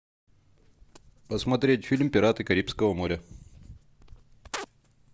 посмотреть фильм пираты карибского моря